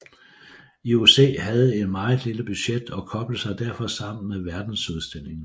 IOC havde et meget lille budget og koblede sig derfor sammen med verdensudstillingen